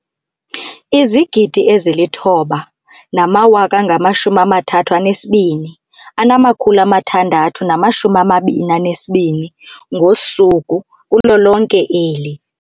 9 032 622 ngosuku kulo lonke eli.